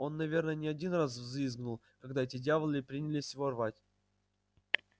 он наверное не один раз взвизгнул когда эти дьяволы принялись его рвать